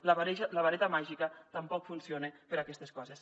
la vareta màgica tampoc funciona per a aquestes coses